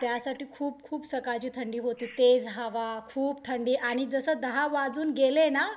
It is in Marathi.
त्यासाठी खूप खूप सकाळची थंडी होती. तेज हवा, खूप थंडी आणि जसं दहा वाजून गेले ना